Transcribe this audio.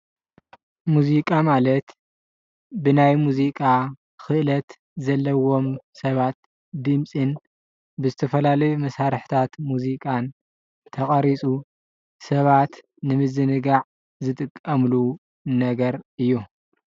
ሙዚቃ ማለት ብናይ ሙዚቃ ክእለት ዘለዎም ሰባት ድምፅን ብዝተፈላለዩ መሳርሕታት ሙዚቃን ተቀሪፁ ሰባት ንምዝንጋዕ ዝጥቀሙሉ ነገር እዩ።